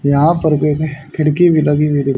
यहां पर एक खिड़की भी लगी हुई दि--